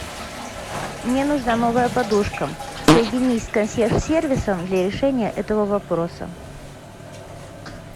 мне нужна новая подушка соедини с консьерж сервисом для решения этого вопроса